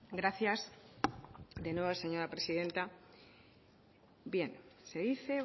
gracias de nuevo señora presidenta bien se dice